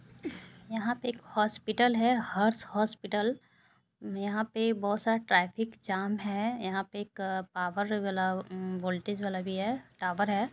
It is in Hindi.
यहा पे एक हॉस्पिटल है हर्ष हॉस्पिटल यहा पे बहोत सारा ट्राफिक जाम है यहा पे एक पावर गला म-म वोल्टेज वाला भी है टावर है।